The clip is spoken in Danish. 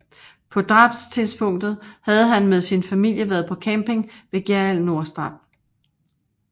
På drabstidspunktet havde han med sin familie været på camping ved Gjerrild Nordstrand